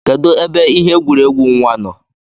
Kedu ebe ihe egwuregwu nwa nọ?